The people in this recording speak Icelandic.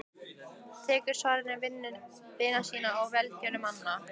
Tekur svari vina sinna og velgjörðamanna.